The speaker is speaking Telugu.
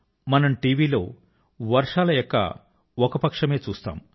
మనం టివి లో వర్షాల యొక్క ఒక పక్షమే చూస్తాం